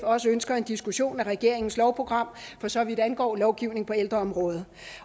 også ønsker en diskussion af regeringens lovprogram for så vidt angår lovgivning på ældreområdet